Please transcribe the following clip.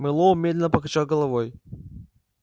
мэллоу медленно покачал головой